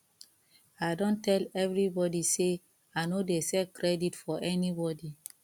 i don tell everybodi sey i no dey sell credit for anybodi